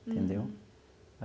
Entendeu?